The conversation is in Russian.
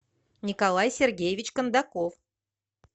николай сергеевич кондаков